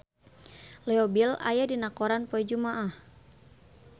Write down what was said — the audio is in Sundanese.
Leo Bill aya dina koran poe Jumaah